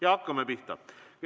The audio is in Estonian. Ja hakkame pihta.